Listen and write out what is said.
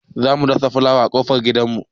Za mu dasa fulawa a ƙofar gidan mu.